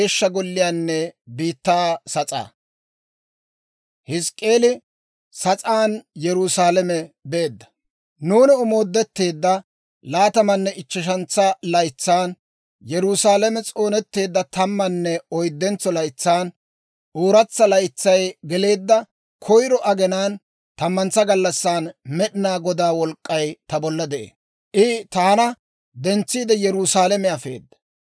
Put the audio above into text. Nuuni omoodetteedda laatamanne ichcheshentsa laytsan, Yerusaalame s'oonetteedda tammanne oyddentso laytsan, ooratsa laytsay geleedda koyro aginaan tammantsa gallassan, Med'inaa Godaa wolk'k'ay ta bolla de'ee. I taana dentsiide Yerusaalame afeedda.